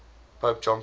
pope john paul